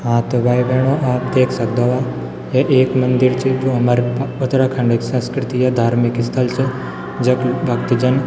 हाँ त भाई-भेणाे आप देख सक्दो वा ये एक मंदिर च जू हमर उत्तराखण्ड संस्कृति या धार्मिक स्थल च जख भक्त जन --